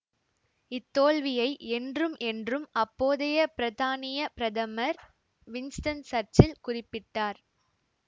இத்தோல்வியை என்றும் என்றும் அப்போதைய பிரத்தானியப் பிரதமர் வின்ஸ்டன் சர்ச்சில் குறிப்பிட்டார்